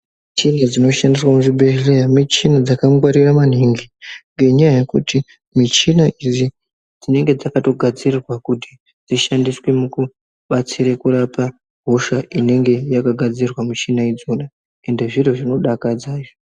Michini dzinoshandiswa muzvibhedhlera michina dzakangwarira maningi ngekuti michina idzi dzinenge dzakagadzirirwa dzishande mukubatsire kurapa hosha inenge yakagadzirwa mishina idzona ende zviro zvinodakadza.